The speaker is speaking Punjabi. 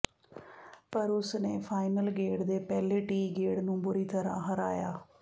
ਪਰ ਉਸ ਨੇ ਫਾਈਨਲ ਗੇੜ ਦੇ ਪਹਿਲੇ ਟੀ ਗੇੜ ਨੂੰ ਬੁਰੀ ਤਰ੍ਹਾਂ ਹਰਾਇਆ